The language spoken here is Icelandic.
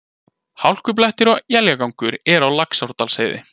Hálkublettir og éljagangur eru á Laxárdalsheiði